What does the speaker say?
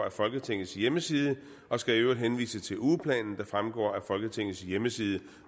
af folketingets hjemmeside og skal i øvrigt henvise til ugeplanen der fremgår af folketingets hjemmeside